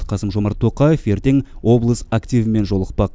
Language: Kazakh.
қасым жомарт тоқаев ертең облыс активімен жолықпақ